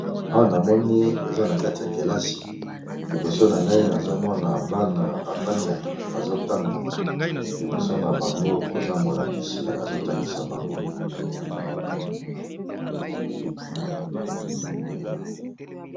Awana moni eza nakati ya kilasi, liboso nangai nazomona bana bafandi nakiti baso tanga liboso nabango koza molakisi azo tangisa bango.